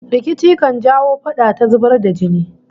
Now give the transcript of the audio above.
Rikici kan jawo fada ta zubar da jini